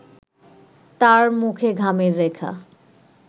তার মুখে ঘামের রেখা